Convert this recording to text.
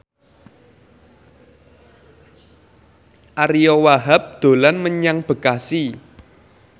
Ariyo Wahab dolan menyang Bekasi